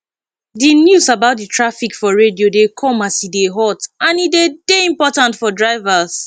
di news about traffic for radio dey come as e dey hot and e de dey important for drivers